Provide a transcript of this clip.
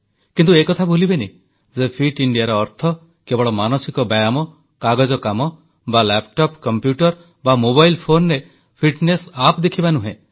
କିନ୍ତୁ ଏକଥା ଭୁଲିବେନି ଯେ ଫିଟ ଇଣ୍ଡିଆର ଅର୍ଥ କେବଳ ମାନସିକ ବ୍ୟାୟାମ କାଗଜ କାମ ବା ଲାପଟପ୍ କମ୍ପ୍ୟୁଟର ବା ମୋବାଇଲ ଫୋନ୍ରେ ଫିଟନେସ ଆପ ଦେଖିବା ନୁହେଁ